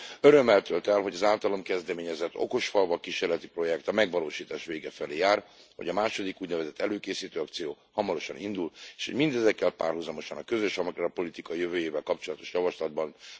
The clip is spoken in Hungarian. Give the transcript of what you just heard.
Örömmel tölt el, hogy az általam kezdeményezett okosfalvak kísérleti projekt a megvalósítás vége felé jár, hogy a második úgynevezett előkészítő akciónk hamarosan indul, és mindezekkel párhuzamosan a közös agrárpolitika jövőjével kapcsolatos javaslatban már megjelenik az úgynevezett okosfalvak eredmény indikátor. Köszönöm szépen!